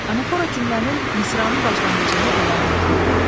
Anafora cümlənin, misranın başlanğıcında gələn təkdir.